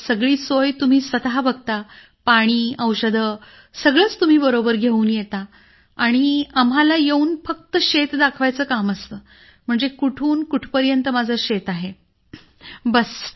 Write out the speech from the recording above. सगळी सोय तुम्ही स्वतः बघता पाणी औषधं सगळंच तुम्ही बरोबर घेऊन येता आणि आम्हाला येऊन फक्त शेत दाखवायचं काम असतं म्हणजे कुठून कुठपर्यंत माझं शेत आहे बास